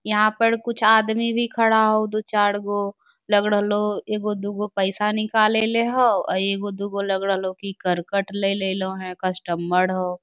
यहाँ पर कुछ आदमी भी खड़ा हउ दू चार गो लग रहलो एगो दूगो पैसा निकाल लेले हउ | अ एगो दुगो लग रहले हउ ही करकट ले लेलो हे कस्टमर हो I